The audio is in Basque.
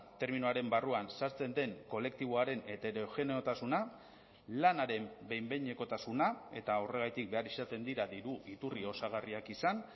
terminoaren barruan sartzen den kolektiboaren heterogeneotasuna lanaren behin behinekotasuna eta horregatik behar izaten dira diru iturri osagarriak izan